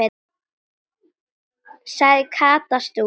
sagði Kata stúrin.